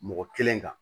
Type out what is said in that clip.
Mɔgɔ kelen kan